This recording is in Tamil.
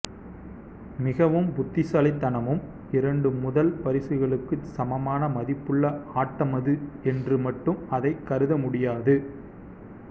மிகவும் புத்திசாலித்தனமும் இரண்டு முதல் பரிசுகளுக்கு சமமான மதிப்புள்ள ஆட்டமது என்று மட்டும் அதை கருதமுடியாது